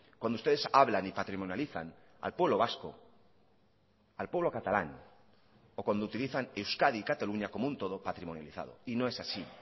cuando ustedes hablan y patrimonializan al pueblo vasco al pueblo catalán o cuando utilizan euskadi y cataluña como un todo patrimonializado y no es así